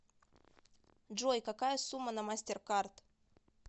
джой какая сумма на мастеркард